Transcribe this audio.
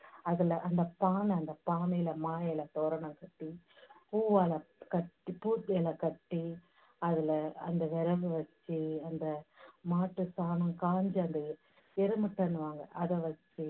அதுல அந்த பாலை அந்த பானைல மா இலை தோரணம் கட்டி, பூவால கட்டி, கட்டி, அதுல அந்த விறகு வெச்சு அந்த மாட்டு சாணம் காஞ்சது, எரு மட்டைன்னுவாங்க, அதை வெச்சு